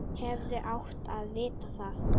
Hefði átt að vita það.